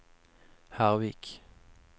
Hervik